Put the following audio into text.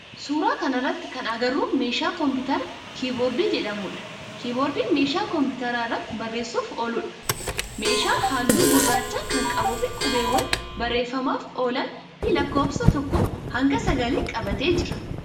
Suuraa kana irratti kan agarru meeshaa komputaraa keyboard jedhamudha. Keyboard meeshaa komputara irratti bareessuuf ooludha. Meeshaan halluu gurraacha kan qabun fi qubewwaan barreeffamaaf oolan fi lakkoofsa tokkoo hanga sagalii qabatee jira.